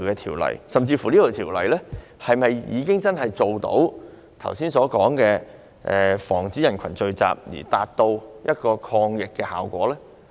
《條例》下的有關規例是否真的做到剛才所說防止人群聚集的抗疫效果呢？